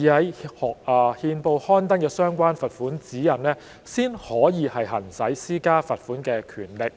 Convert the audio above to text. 已在憲報刊登的相關罰款指引，才可行使施加罰款的權力。